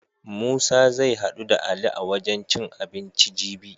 Musa zai haɗu da Ali a wajen cin abinci jibi.